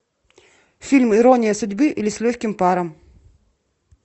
фильм ирония судьбы или с легким паром